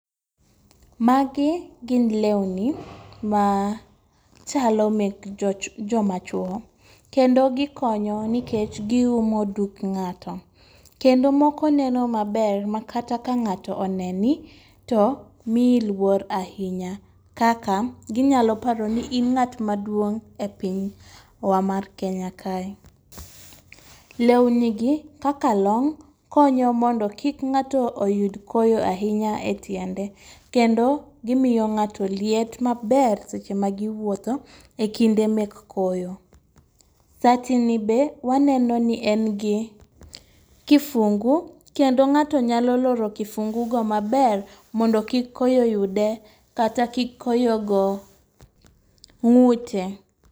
Magi gin lewni ma chalo mek joch joma chuo kendo gikonyo nikech giumo dug ng'ato. Kendo moko neno maber ma kata ka ng'ato oneni , to miyi luor ahinya kaka ginyalo paro ni in ng'at maduong' e pinywa mar kenya kae. Lewni gi kaka long konyo mondo kik ng'ato oyud koyo ahinya e tiende kendo gimiyo ng'ato liet maber seche ma giwuoto e kinde mek koyo. Sati ni be waneno ni en gi kifungu kendo ng'ato nyalo loro kifungu go maber mondo kik koyo yude kata kik koyo go ng'ute.